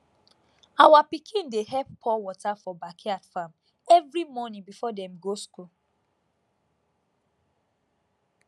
our pikin dey help pour water for backyard farm every morning before dem go school